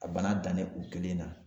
A bana dannen o kelen na